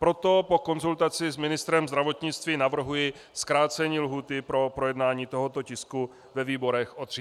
Proto po konzultaci s ministrem zdravotnictví navrhuji zkrácení lhůty pro projednání tohoto tisku ve výborech o 30 dní.